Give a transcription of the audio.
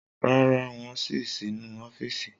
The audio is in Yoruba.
Rara, wón sí nínú ọfísì